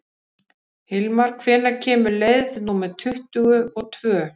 Hilmar, hvenær kemur leið númer tuttugu og tvö?